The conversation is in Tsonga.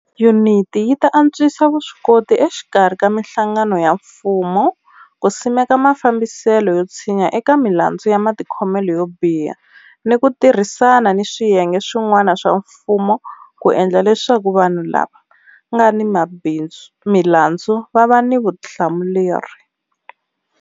Yuniti yi ta antswisa vuswikoti exikarhi ka mihlangano ya mfumo ku simeka mafambiselo yo tshinya eka milandzu ya matikhomelo yo biha ni ku tirhisana ni swiyenge swi n'wana swa mfumo ku endla leswaku vanhu lava nga ni milandzu va va ni vutihlamuleri.